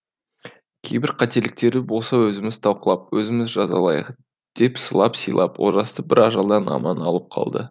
кейбір қателіктері болса өзіміз талқылап өзіміз жазалайық деп сылап сыйлап олжасты бір ажалдан аман алып қалды